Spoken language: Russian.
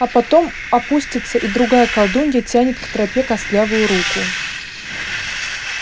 а потом опустится и другая колдунья тянет к тропе костлявую руку